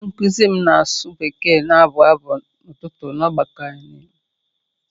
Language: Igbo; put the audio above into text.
Onye nkụzi m na-asụ Bekee na-abụ abụ̀ otuto na ọgbakọ anyị.